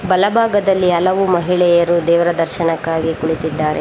ಬಲಭಾಗದಲ್ಲಿ ಹಲವು ಜನರು ದೇವರ ದರ್ಶನಕ್ಕಾಗಿ ಕುಳಿತಿದ್ದಾರೆ.